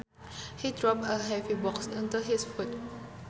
He dropped a heavy box onto his foot